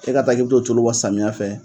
E ka taa k' i bɛ t'o tulu wa samiyɛ fɛ.